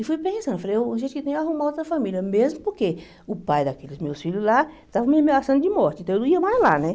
E fui pensando, falei, a gente tem que arrumar outra família, mesmo porque o pai daqueles meus filhos lá estava me ameaçando de morte, então eu não ia mais lá, né?